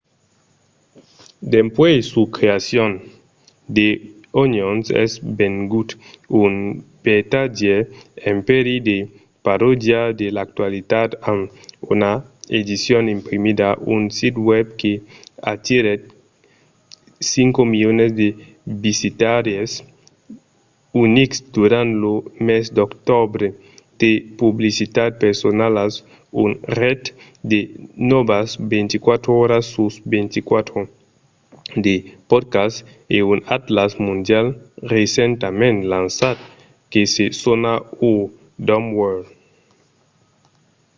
dempuèi sa creacion the onion es vengut un vertadièr empèri de parodia de l'actualitat amb una edicion imprimida un sit web que atirèt 5 000 000 de visitaires unics durant lo mes d'octobre de publicitats personalas una ret de nòvas 24 oras sus 24 de podcasts e un atlàs mondial recentament lançat que se sona our dumb world